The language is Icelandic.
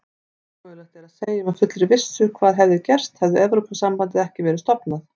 Ómögulegt er að segja með fullri vissu hvað hefði gerst hefði Evrópusambandið ekki verið stofnað.